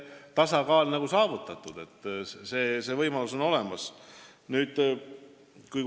Ma arvan, et täna on tasakaal saavutatud, see võimalus on olemas.